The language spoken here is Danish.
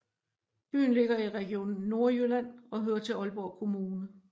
Byen ligger i Region Nordjylland og hører til Aalborg Kommune